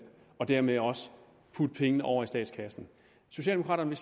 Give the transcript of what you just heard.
og dermed også putte pengene over i statskassen socialdemokraterne